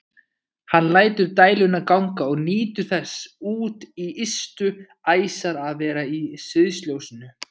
Hann lætur dæluna ganga og nýtur þess út í ystu æsar að vera í sviðsljósinu.